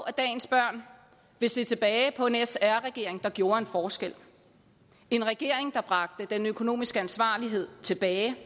at dagens børn vil se tilbage på en sr regering der gjorde en forskel en regering der bragte den økonomiske ansvarlighed tilbage